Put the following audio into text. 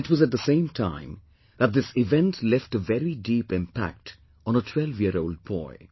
And it was at the same time, that this event left a very deep impact on a twelveyearold boy